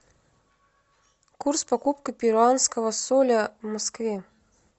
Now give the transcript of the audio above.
курс покупка перуанского соля в москве